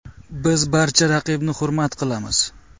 Biz barcha raqibni hurmat qilamiz.